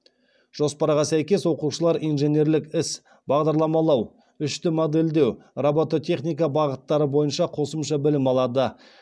жоспарға сәйкес оқушылар инженерлік іс бағдарламалау үшд модельдеу робототехника бағыттары бойынша қосымша білім алады